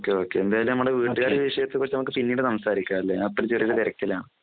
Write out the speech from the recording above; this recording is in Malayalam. ഒക്കെ ഒക്കെ എന്തായാലും നമ്മുടെ വീട്ടുകാരുടെ വിഷയത്തെ പറ്റി നമുക്ക് പിന്നീട് സംസാരിക്കാം അല്ലേ ഞാൻ ഇപ്പോ ചെറിയ ഒരു തിരക്കിലാണ്